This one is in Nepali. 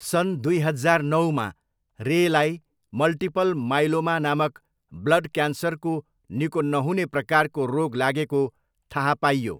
सन् दुई हजार नौमा, रेलाई मल्टिपल माइलोमा नामक ब्लड क्यान्सरको निको नहुने प्रकारको रोग लागेको थाहा पाइयो।